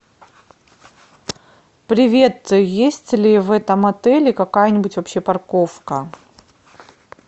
привет есть ли в этом отеле какая нибудь вообще парковка